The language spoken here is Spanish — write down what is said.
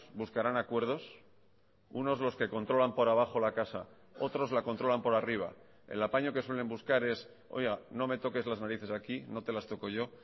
buscarán acuerdos unos los que controlan por abajo la casa otros la controlan por arriba el apaño que suelen buscar es oiga no me toques las narices aquí no te las toco yo